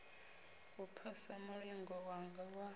u phasa mulingo wanga wa